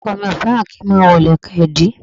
Ọkọ̀ mi ò fẹ́ràn kí n máa wọ ìlẹ̀kẹ̀ ìdí